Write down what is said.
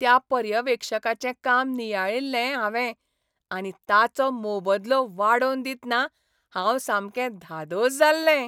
त्या पर्यवेक्षकाचें काम नियाळिल्लें हांवें आनी ताचो मोबदलो वाडोवन दितना हांव सामकें धादोस जाल्लें.